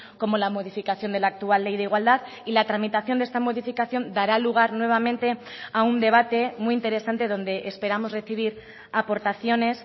como la modificación de la actual ley de igualdad y la tramitación de esta modificación dará lugar nuevamente a un debate muy interesante donde esperamos recibir aportaciones